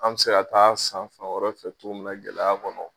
An bɛ se ka t'a san fan wɛrɛ fɛ xogoya min na gɛlɛya kɔnɔ